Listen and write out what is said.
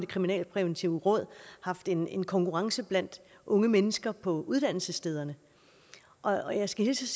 kriminalpræventive råd haft en en konkurrence blandt unge mennesker på uddannelsesstederne og jeg skal hilse